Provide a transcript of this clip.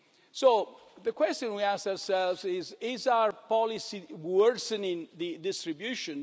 So the question we ask ourselves is, is our policy worsening the distribution?